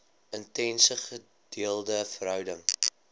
intense gedeelde verhouding